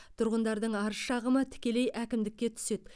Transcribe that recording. тұрғындардың арыз шағымы тікелей әкімдікке түседі